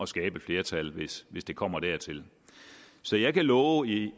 skabe et flertal hvis hvis det kommer dertil så jeg kan love i